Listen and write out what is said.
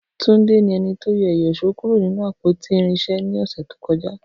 Tunde ni ẹni to yọ ìyíṣòó kuro ninu apoti irinṣẹ ni ọsẹ to kọja.